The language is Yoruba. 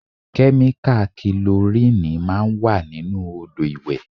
Kẹ́míkà kilorínìì máa ń wà nínú Odò ìwẹ̀.